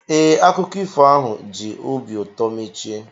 Ee, akụkọ ifo ahụ ji obi ụtọ mechie